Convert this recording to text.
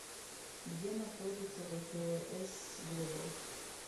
где находится вэфээс глобал